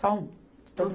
Só um.